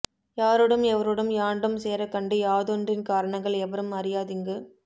யாரோடும் எவரோடும் யாண்டும் சேரக் கண்டு யாதொன்றின் காரணங்கள் எவரும் அறியாதிங்கு